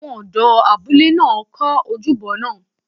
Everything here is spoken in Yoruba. Àwọn ọ̀dọ́ abúlé náà kọ́ ojúbọ náà